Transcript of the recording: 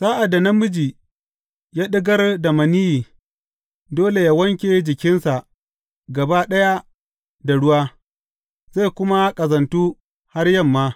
Sa’ad da namiji ya ɗigar maniyyi, dole yă wanke jikinsa gaba ɗaya da ruwa, zai kuma ƙazantu har yamma.